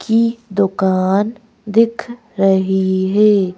की दुकान दिख रही है।